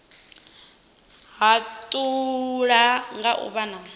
u hatula nga u vha